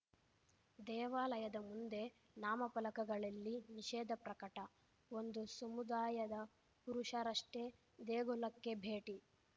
ದೇವಾಲಯದ ಮುಂದೆ ನಾಮಫಲಕಗಳಲ್ಲಿ ನಿಷೇಧ ಪ್ರಕಟ ಒಂದು ಸಮುದಾಯದ ಪುರುಷರಷ್ಟೇ ದೇಗುಲಕ್ಕೆ ಭೇಟಿ